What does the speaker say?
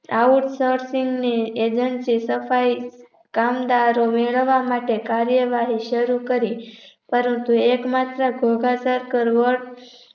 Outsourcing Agency સફાઈ કામદારો વેરવા માટે કાર્યવાહી શરુ કરી પરંતુ એકમાત્ર ધોઘા circle vote